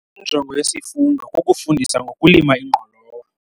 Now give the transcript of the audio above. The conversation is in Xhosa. Injongo yesifundo kukufundisa ngokulima ingqolowa.